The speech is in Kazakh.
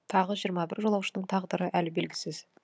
тағы жиырма бір жолаушының тағдыры әлі белгісіз